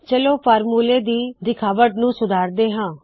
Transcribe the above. ਚਲੋ ਫਾਰਮੂਲੇ ਦੀ ਦਿਖਾਵਟ ਨੂ ਸੁਧਾਰਦੇ ਹਾ